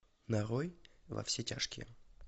нарой во все тяжкие